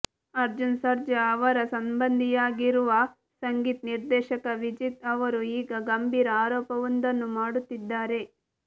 ಅರ್ಜುನ್ ಸರ್ಜಾ ಅವರ ಸಂಬಂಧಿಯಾಗಿರುವ ಸಂಗೀತ ನಿರ್ದೇಶಕ ವಿಜೇತ್ ಅವರು ಈಗ ಗಂಭೀರ ಆರೋಪವೊಂದನ್ನು ಮಾಡುತ್ತಿದ್ದಾರೆ